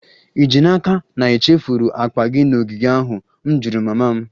Ì ji n'aka na ị chefuru akpa gị n'ogige ahụ? M jụrụ mama m